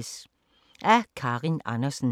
Af Karin Andersen